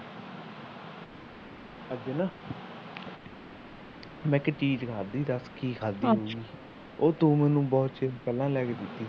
ਅੱਜ ਨਾ ਮੈ ਇੱਕ ਚੀਜ ਖਾਂਦੀ ਦੱਸ ਕੀ ਖਾਦੀ ਉਹ ਤੂੰ ਮੈਨੂੰ ਬਹੁਤ ਚੀਰ ਪਹਿਲਾ ਲਿਆ ਕੇ ਦਿੱਤੀ ਸੀ ਗੀ